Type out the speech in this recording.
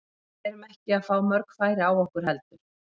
Við erum ekki að fá mörg færi á okkur heldur.